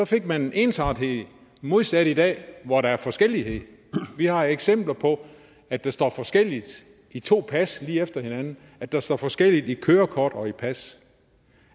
fik man ensartethed modsat i dag hvor der er forskellighed vi har eksempler på at det står forskelligt i to pas lige efter hinanden at der står forskelligt i kørekort og i pas